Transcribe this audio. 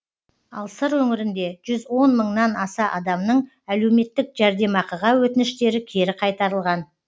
ал сыр өңірінде жүз он мыңнан аса адамның әлеуметтік жәрдемақыға өтініштері кері қайтарылған